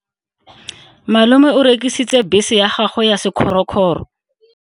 Malome o rekisitse bese ya gagwe ya sekgorokgoro.